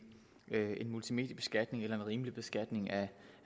multimediebeskatning eller en rimelig beskatning af